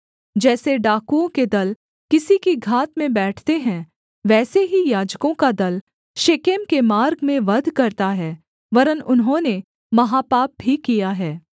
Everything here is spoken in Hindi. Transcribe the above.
जैसे डाकुओं के दल किसी की घात में बैठते हैं वैसे ही याजकों का दल शेकेम के मार्ग में वध करता है वरन् उन्होंने महापाप भी किया है